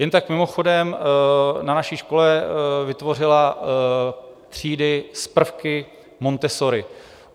Jen tak mimochodem, na naší škole vytvořila třídy s prvky Montessori.